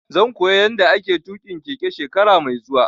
Zan koya yanda ake tuƙin keke shekara mai zuwa